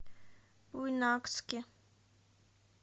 буйнакске